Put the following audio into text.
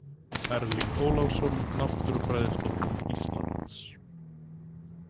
Erling Ólafsson, Náttúrufræðistofnun Íslands.